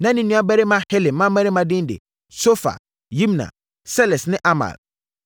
Na ne nuabarima Helem mmammarima din de: Sofa, Yimna, Seles ne Amal.